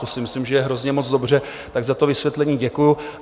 To si myslím, že je hrozně moc dobře, tak za to vysvětlení děkuju.